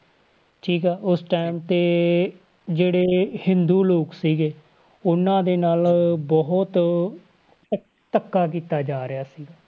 ਠੀਕ ਆ ਉਸ time ਤੇ ਜਿਹੜੇ ਹਿੰਦੂ ਲੋਕ ਸੀਗੇ, ਉਹਨਾਂ ਦੇ ਨਾਲ ਬਹੁਤ ਧ~ ਧੱਕਾ ਕੀਤਾ ਜਾ ਰਿਹਾ ਸੀਗਾ।